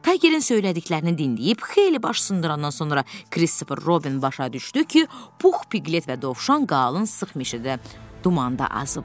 Taygerin söylədiklərini dinləyib xeyli baş sındırandan sonra Kristofer Robin başa düşdü ki, Pux, Piklet və Dovşan qalın sıx meşədə dumanda azıblar.